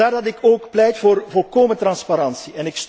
Vandaar dat ik ook pleit voor volkomen transparantie.